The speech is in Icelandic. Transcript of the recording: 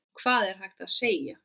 Hvað er hægt að segja?